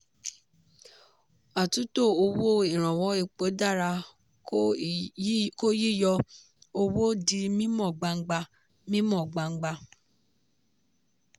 àtúntò owó ìrànwọ́ epo dára kó yíyọ owó di mímọ́ gbangba. mímọ́ gbangba.